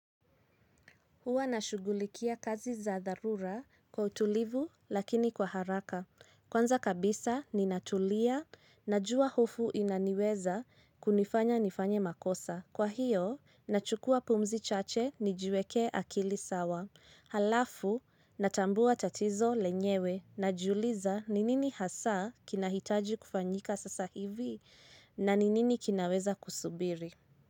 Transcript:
Huwa nashugulikia kazi za dharura kwa utulivu lakini kwa haraka. Kwanza kabisa ninatulia najua hofu inaniweza kunifanya nifanye makosa. Kwa hiyo, nachukua pumzi chache nijiweke akili sawa. Alafu, natambua tatizo lenyewe najiuliza ni nini hasa kinahitaji kufanyika sasa hivi na ninini kinaweza kusubiri.